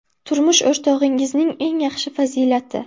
Turmush o‘rtog‘ingizning eng yaxshi fazilati?